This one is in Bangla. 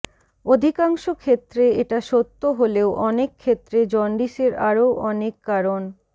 অধিকাংশ ক্ষেত্রে এটা সত্য হলেও অনেক ক্ষেত্রে জন্ডিসের আরো অনেক কারণ